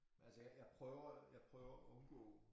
Altså jeg jeg prøver jeg prøver at undgå